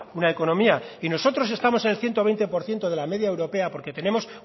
una economía y nosotros estamos en el ciento veinte por ciento de la media europea porque tenemos